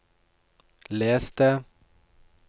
les det